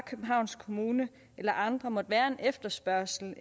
københavns kommune eller andre måtte være en efterspørgsel i